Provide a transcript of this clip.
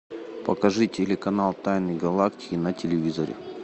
покажи телеканал тайны галактики на телевизоре